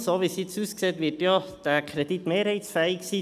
So wie es jetzt aussieht, wird dieser Kredit ja mehrheitsfähig sein.